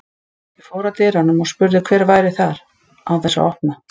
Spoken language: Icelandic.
Ég fór að dyrunum og spurði hver væri þar, án þess að opna.